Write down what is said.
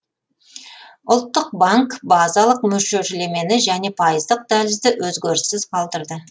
ұлттық банк базалық мөлшерлемені және пайыздық дәлізді өзгеріссіз қалдырды